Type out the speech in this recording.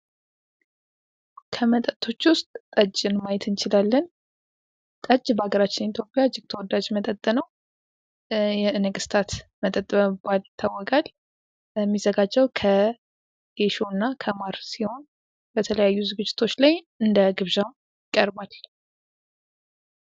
ከመጠጦች ውስጥ ጠጅን ማየት እንችላለን ። ጠጅ በሀገራችን ኢትዮጵያ እጅግ ተወዳጅ መጠጥ ነው ።የነገስታት መጠጥ በመባል ይታወቃል ። የሚዘጋጀው ከጌሾ እና ከማር ሲሆን በተለያዩ ዝግጅቶች ላይ እንደ ግብዣ ይቀርባል።